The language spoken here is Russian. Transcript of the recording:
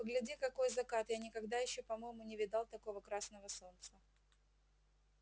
погляди какой закат я никогда ещё по-моему не видал такого красного солнца